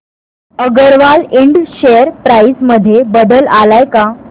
अगरवाल इंड share price मध्ये बदल आलाय का